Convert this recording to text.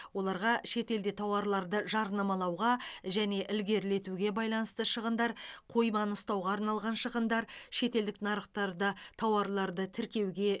оларға шетелде тауарларды жарнамалауға және ілгерілетуге байланысты шығындар қойманы ұстауға арналған шығындар шетелдік нарықтарда тауарларды тіркеуге